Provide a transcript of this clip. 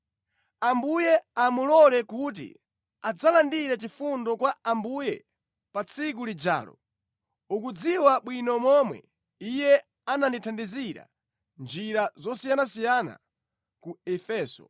Ambuye amulole kuti adzalandire chifundo kwa Ambuye pa tsiku lijalo! Ukudziwa bwino momwe iye anandithandizira mʼnjira zosiyanasiyana ku Efeso.